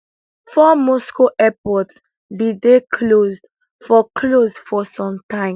four moscow airports bin dey closed for closed for some time